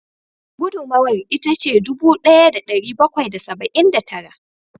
Gudunmawar ita ce dubu daya da dari bakwai da saba'in da tara